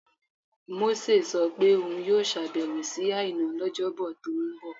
Mósè sọ pé òun yóò ṣàbẹ̀wò sí Àìná lọ́jọ́bọ tó ń bọ̀